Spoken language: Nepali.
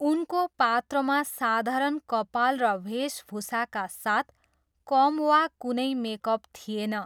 उनको पात्रमा साधारण कपाल र वेशभूषाका साथ कम वा कुनै मेकअप थिएन।